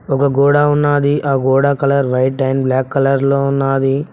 ఒక గోడ ఉన్నాది ఆ గోడ colour white and black colour లో ఉన్నాది.